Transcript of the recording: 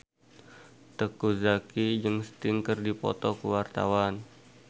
Teuku Zacky jeung Sting keur dipoto ku wartawan